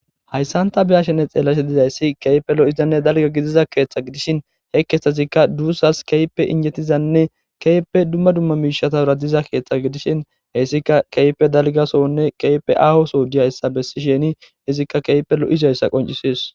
Hayissanni be'ashshenne xeelashshe dizayiss kehippe lo'izanne daligga gidizza keththa gidishshin he keththazikka dusas kehippe injetizanne kehippe dumma dumma mishshatara diza keththa gidishshinn heyissikka kehippe daliga so'onne kehippe ahoo Soo giyassa besishshenne izikka kehippe lo'izayissa qonccisses.